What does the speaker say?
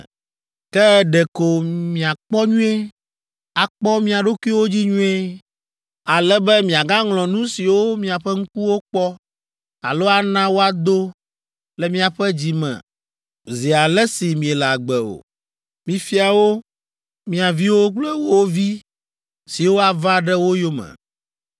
Ke ɖeko miakpɔ nyuie, akpɔ mia ɖokuiwo dzi nyuie, ale be miagaŋlɔ nu siwo miaƒe ŋkuwo kpɔ alo ana woado le miaƒe dzi me zi ale si miele agbe o. Mifia wo mia viwo kple wo vi siwo ava ɖe wo yome.